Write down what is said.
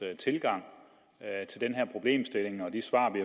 tilgang til den her problemstilling og de svar vi